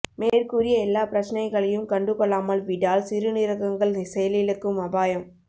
மேற்கூறிய எல்லா பிரச்னைகளையும் கண்டு கொள்ளாமல் விடால் சிறுநீரகங்கள் செயலிழக்கும் அபாயம்